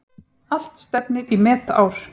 Allt stefnir í metár.